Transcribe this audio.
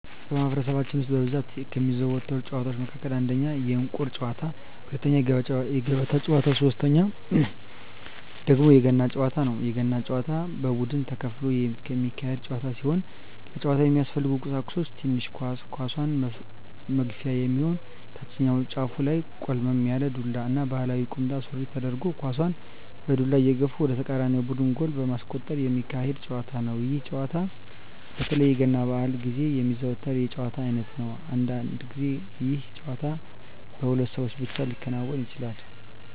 በማህበረሰባችን ውስጥ በብዛት ከሚዘወተሩ ጨዋታወች መካከል አንደኛ የእንቁር ጨዋታ፣ ሁለተኛ የገበጣ ጨዋታ ሲሆን ሶተኛው ደግሞ የገና ጨዋታ ነው። የገና ጨዋታ በቡድን ተከፍሎ የሚካሄድ ጨዋታ ሲሆን ለጨዋታው የሚያስፈልጉ ቀሳቁሶች ትንሽ ኳስ፣ ኳሷን መግፊያ የሚሆን ታችኛው ጫፉ ላይ ቆልመም ያለ ዱላ እና ባህላዊ ቁምጣ ሱሪ ተደርጎ ኳሳን በዱላ እየገፉ ወደ ተቃራኒ ቡድን ጎል በማስቆጠር ሚካሄድ ጨዋታ ነው። ይህ ጨዋታ በተለይ የገና በአል ግዜ የሚዘወተር የጨዋታ አይነት ነው። አንዳንድ ግዜ ይህ ጨዋታ በሁለት ሰው ብቻ ሊከናወን ይችላል።